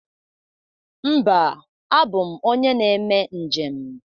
Mba, abụ m onye na-eme njem